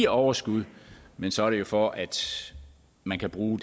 overskud men så er det jo for at man kan bruge